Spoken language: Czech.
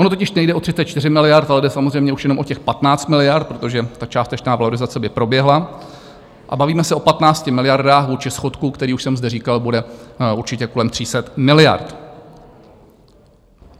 Ono totiž nejde o 34 miliard, ale jde samozřejmě už jenom o těch 15 miliard, protože ta částečná valorizace by proběhla - a bavíme se o 15 miliardách vůči schodku, který, už jsem zde říkal, bude určitě kolem 300 miliard.